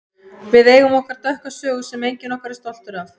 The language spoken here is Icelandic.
Við eigum okkar dökka sögu sem enginn okkar er stoltur af.